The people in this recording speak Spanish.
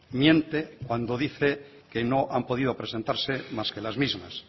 miente cuando dice que no han podido presentar más que las mismas